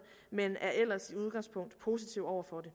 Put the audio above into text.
men er ellers i udgangspunktet positive over for det